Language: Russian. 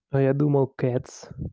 а я думал кэц